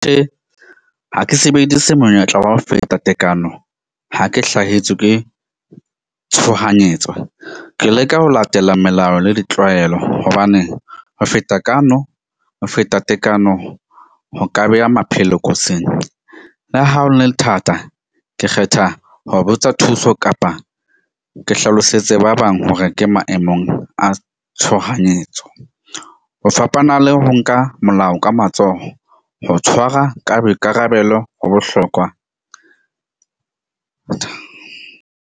Tjhe, ha ke sebedise monyetla wa ho feta tekano, ha ke hlahetswe ke tshohanyetso ke leka ho latela melao le ditlwaelo. Hobane ho feta ho feta tekano, ho ka beha maphelo kotsing le ha ho le thata. Ke kgetha ho botsa thuso kapa ke hlalosetse ba bang. Ho re ke maemong a tshohanyetso ho fapana le ho nka molao ka matsoho ho tshwara ka boikarabelo ho bohlokwa .